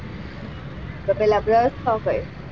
તો brush થાય.